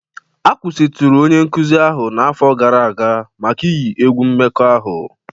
A kwụsịtụrụ onye nkuzi ahụ n'afọ gara aga maka iyi egwu mmekọahụ